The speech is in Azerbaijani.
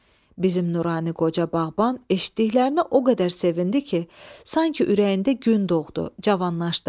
Bizim nurani qoca bağban eşitdiklərinə o qədər sevindi ki, sanki ürəyində gün doğdu, canlandı.